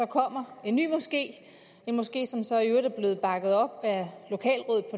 kommer en ny moské en moské som så i øvrigt er blevet bakket op af